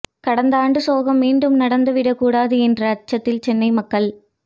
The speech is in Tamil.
கடந்த ஆண்டு சோகம் மீண்டும் நடந்துவிடக்கூடாது என்ற அச்சத்தில் சென்னை மக்கள்